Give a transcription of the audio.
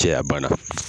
Cɛya bana